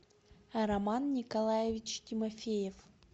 роман николаевич тимофеев